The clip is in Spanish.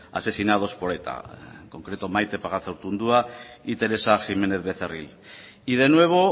asesinados por eta y en concreto maite pagazaurtundua y teresa jiménez becerril y de nuevo